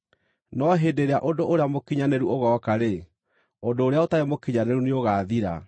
no hĩndĩ ĩrĩa ũndũ ũrĩa mũkinyanĩru ũgooka-rĩ, ũndũ ũrĩa ũtarĩ mũkinyanĩru nĩũgaathira.